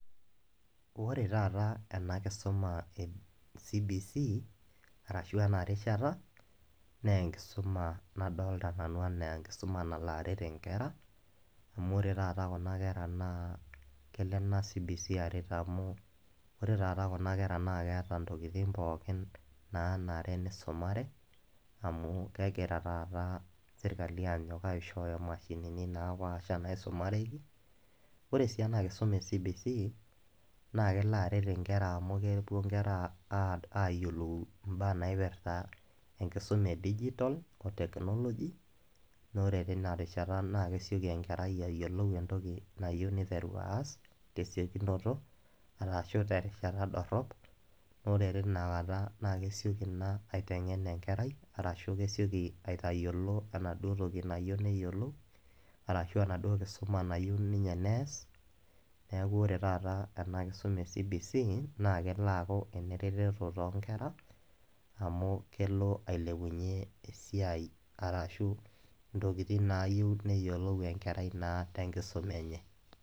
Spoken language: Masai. Wore taata ena kisuma ecbc arashu enerishata naa enkisuma nadolta nanu anaa enkisuma enalaret inkera amu ore taata kuna kera naa kelo ena cbc aret amu ore taata kuna kera naa keeta ntokitin pookin nanare nisumare amu kegira taata sirkali anyok aishooyo mashinini naapasha naisumareki. Ore sii ena kisuma ecbc naa kelo aret inkera amu kepuo inkera aa ayiolou mbaa naipirta enkisuma edigital otechnology naa ore tina rishata naa kesioki enkerai ayiolou entoki nayieu niteru aas tesiokinoto arashu terishata dorrop naa ore tina kata naa kesioki ina aitengen enkerai arashu kesioki aitayiolo enaduo toki nayieu neyiolou arashu enaduo kisuma nayieu ninye nees , niaku ore taata ena kisuma ecbc naa kelo aaku enereteto toonkera amu kelo ailepunyie esiai arashu ntokitin nayieu neyiolou enkerai naa tenkisuma enye.